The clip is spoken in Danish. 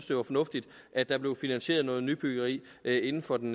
det var fornuftigt at der blev finansieret noget nybyggeri inden for den